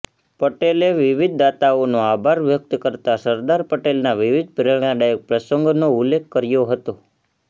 પટેલે વિવિધ દાતાઓનો આભાર વ્યકત કરતા સરદાર પટેલના વિવિધ પ્રેરણાદાયક પ્રસંગોનો ઉલ્લેખ કર્યો હતો